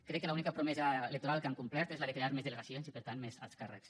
crec que l’única promesa electoral que han complert és la de crear més delegacions i per tant més alts càrrecs